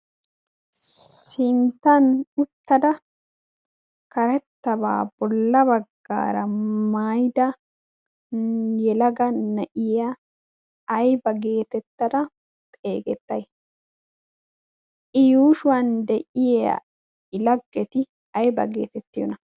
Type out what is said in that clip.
sinttan uttada karetabaa bola bagaara maayada uttuda yelaga na'iya ayba geetettay? i yuushuwan de'iya i lagetti ayba geetettiyona?